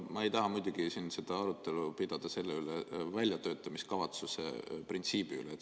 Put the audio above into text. Ma ei taha muidugi siin arutelu pidada väljatöötamiskavatsuse printsiibi üle.